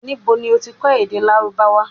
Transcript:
Nibo lo ti kọ èdè Lárúbáwá?